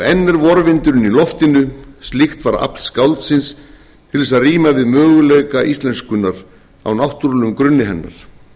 er vorvindurinn í loftinu slíkt var afl skáldsins til þess að ríma við möguleika íslenskunnar á náttúrulegum grunni hennar